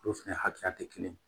Olu fɛnɛ hakɛya tɛ kelen ye